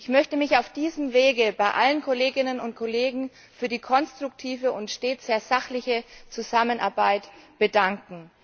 Ich möchte mich auf diesem Weg bei allen Kolleginnen und Kollegen für die konstruktive und stets sehr sachliche Zusammenarbeit bedanken.